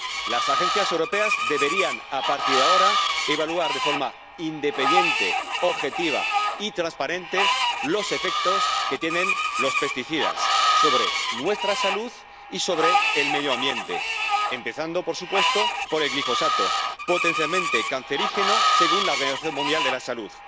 Las agencias europeas deberían, a partir de ahora, evaluar de forma independiente, objetiva y transparente los efectos que tienen los pesticidas sobre nuestra salud y sobre el medio ambiente, empezando, por supuesto, por el glifosato, potencialmente cancerígeno según la Organización Mundial de la Salud.